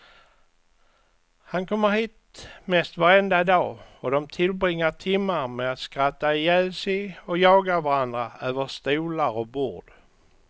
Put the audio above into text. Han kommer hit mest varenda dag och dom tillbringar timmar med att skratta ihjäl sig och jaga varandra över stolar och bord.